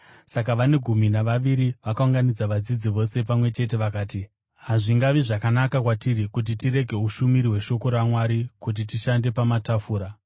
Saka vane gumi navaviri vakaunganidza vadzidzi vose pamwe chete vakati, “Hazvingavi zvakanaka kwatiri kuti tirege ushumiri hweshoko raMwari kuti tishande pamatafura.